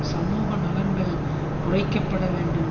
சமூக நலன்கள் குறைக்க பட வேண்டும்